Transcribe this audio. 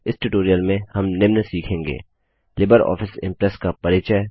इस ट्यूटोरियल में हम निम्न सीखेंगे लिबर ऑफिस इंप्रेस का परिचय